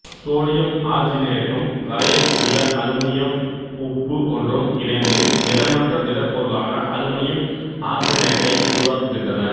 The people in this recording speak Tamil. சோடியம் ஆர்செனேட்டும் கரையக்கூடிய அலுமினியம் உப்பு ஒன்றும் இணைந்து நிறமற்ற திடப்பொருளான அலுமினியம் ஆர்செனேட்டை உருவாக்குகின்றன